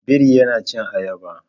Biri yana cin ayaba